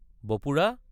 বপুৰা!